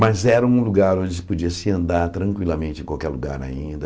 Mas era um lugar onde se podia se andar tranquilamente em qualquer lugar ainda.